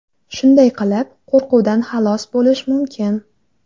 Shunday qilib, qo‘rquvdan xalos bo‘lish mumkin.